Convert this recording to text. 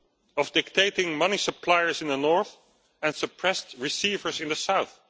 of dictating money suppliers in the north and suppressed receivers in the south.